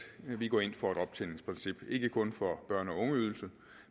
vi går ind for et optjeningsprincip ikke kun for børne og ungeydelse